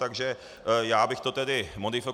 Tak já bych to tedy modifikoval.